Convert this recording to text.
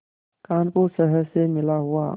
कानपुर शहर से मिला हुआ